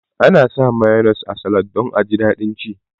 Ana sa mayones a salad don aji daɗin ci